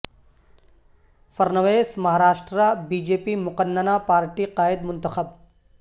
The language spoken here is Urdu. Fadnavis Maharashtra B J P مقننہ پارٹی قائد منتخب